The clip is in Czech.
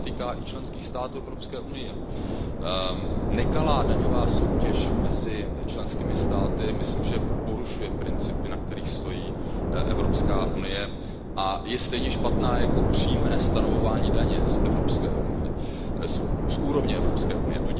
To se týká i členských států Evropské unie. Nekalá daňová soutěž mezi členskými státy si myslím, že porušuje principy, na kterých stojí Evropská unie, a je stejně špatná jako přímé stanovování daně z úrovně Evropské unie.